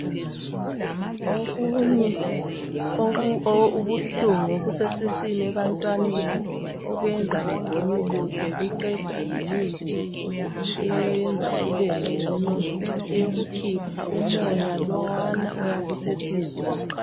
Okunye okubuhlungu okusesiswini ebantwaneni okwenza begonyuluke kuqedwa yimithi eyenza kube ngcono eyokukhipha umoya lowana oyabe usesiswini.